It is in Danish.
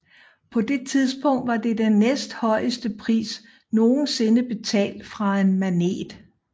På det tidspunkt var det den næsthøjeste pris nogensinde betalt for en Manet